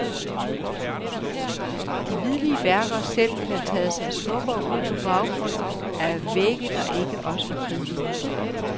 Og de hvidlige værker selv ville have taget sig smukkere ud på baggrund af vægge, der ikke også var kridhvide.